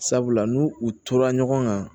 Sabula n'u u tora ɲɔgɔn kan